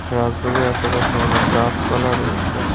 রাজবাড়ীর আশেপাশে অনেক গাসপালা রয়েছে।